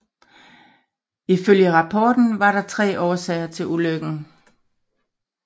Ifølge rapporten var der tre årsager til ulykken